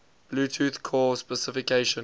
bluetooth core specification